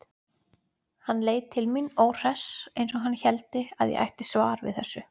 Hann leit til mín, óhress, eins og hann héldi að ég ætti svar við þessu.